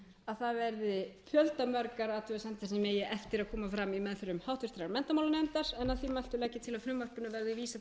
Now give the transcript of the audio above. að það verði fjöldamargar athugasemdir sem eigi eftir að koma fram í meðförum háttvirtur menntamálanefndar að því mæltu legg ég til að frumvarpinu verði víða